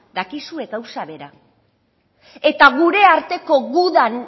dakizue gauza bera eta gure arteko gudan